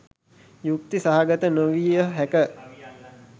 යුක්ති සහගත නොවිය හැක